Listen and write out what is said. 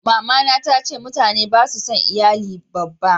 mamana ta ce mutane ba su son iyali babba yanzu